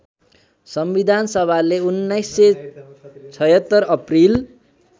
संविधानसभाले १९७६ April